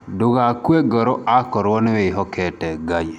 Ndũgakue ngoro akorwo nĩwĩhokete Ngai.